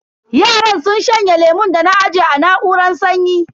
Yaran sun shanye lemun da na aje a na'uran sanyi.